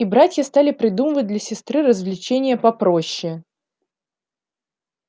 и братья стали придумывать для сестры развлечения попроще